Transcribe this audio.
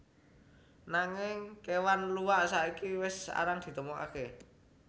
Nanging kéwan luwak saiki wis arang ditemokaké